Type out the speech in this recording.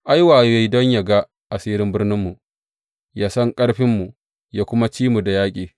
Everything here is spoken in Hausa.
Ai, wayo ya yi don yă ga asirin birninmu, yă san ƙarfinmu, yă kuma ci mu da yaƙi.